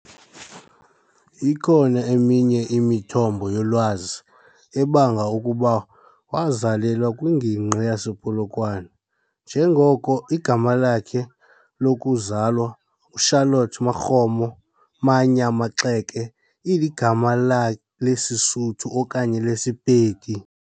Ikhona eminye imithombo yolwazi ebanga ukuba wazalelwa kwingingqi yasePolokwane, njengoko igama lakhe lokuzalwa Charlotte Makgomo Mannyaa Maxeke iligama lesiSotho okanye lesiPedi.